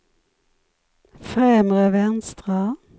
främre vänstra